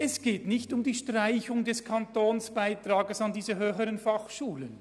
Es geht nicht um die Streichung des Kantonsbeitrags an diese HF.